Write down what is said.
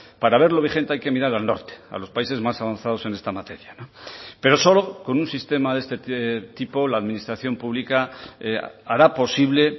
para verlo vigente hay que mirar al norte a los países más avanzados en esta materia pero solo con un sistema de este tipo la administración pública hará posible